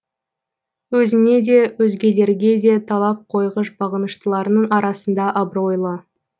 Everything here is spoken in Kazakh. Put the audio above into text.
өзіне де өзгелерге де талап қойғыш бағыныштыларының арасында абыройлы